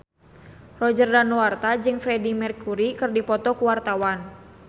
Roger Danuarta jeung Freedie Mercury keur dipoto ku wartawan